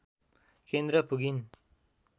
केन्द्र पुगिन्